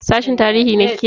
Sashin tarihi ne kike?